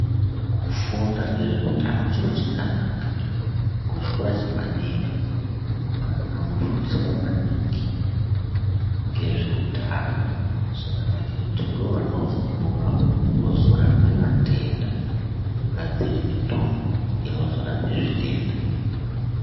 Kufunda ngezveutano chiro chakanaka kuchikora chepadera, vana vofundiswa maningi ngezveutano. Zvakanaka maningi ngekuti ndovanozokura vozorape vatenda, vogadzire mitombo inozorape zvitenda.